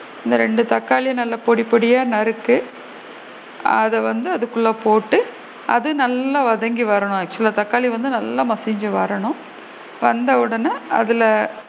அந்த ரெண்டு தக்காளிய பொடி பொடியா நறுக்கு அத வந்து அதுக்குள்ள போட்டு அது நல்லா வதங்கி வரணும் actual லா தக்காளி வந்து நல்லா மசிஞ்சு வரணும் வந்து உடனே அதுல